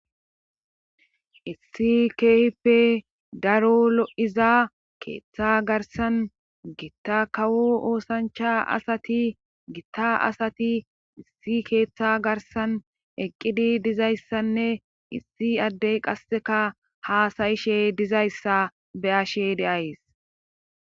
Issi keehippe daro lo7iza keeththa garsan gitta kawo oosancha asati gitta asati issi keeththa garsan eqqidi dizayssanne issi addey qasseka haasayishe dizayssa be7ashe de7ays.